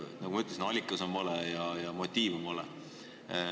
Nagu ma ütlesin, rahaallikas on vale ja motiiv on vale.